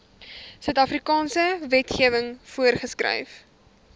suidafrikaanse wetgewing voorgeskryf